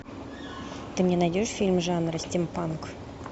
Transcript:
ты мне найдешь фильм жанра стимпанк